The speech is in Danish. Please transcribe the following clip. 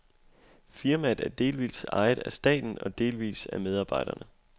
Firmaet er delvis ejet af staten og delvis af medarbejderne.